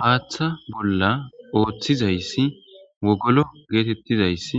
haaththa bolla ooththizayssi wogolo geetettizayssi